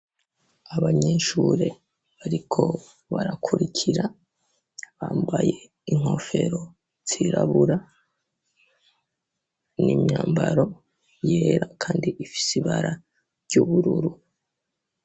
Abanyeshure bariko barakurikira bambaye inkofero zirabura n'imyambaro yera kandi ifise ibara ry'ubururu.